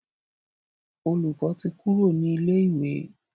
Olùkó tí Kúrò ní ilè ìwé.